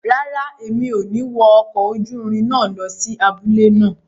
Rárá, mi ò ní wọ ọkọ̀ ojúrin náà lọ sí abúlé náà